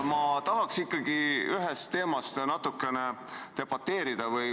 Ma tahaks ikkagi ühe küsimuse üle natukene debateerida.